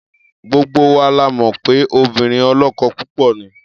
Gbogbo wa la mọ̀ pé obìnrin ọlọ́kọ púpọ̀ ni.